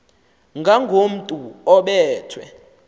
ngakomntu obe thwe